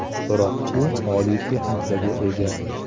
Biroq u oliy texnikaga ega.